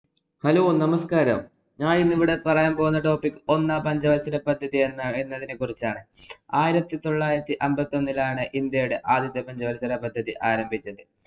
Hello നമസ്കാരം, ഞാനിന്നു ഇവിടെ പറയാന്‍ പോകുന്ന topic ഒന്നാം പഞ്ചവല്‍സരപദ്ധതി എന്ന എന്നതിനെ കുറിച്ചാണ്. ആയിരത്തി തൊള്ളായിരത്തിഅമ്പത്തി ഒന്നിലാണ് ഇന്‍ഡ്യയുടെ ആദ്യത്തെ പഞ്ചവല്‍സരപദ്ധതി ആരംഭിച്ചത്.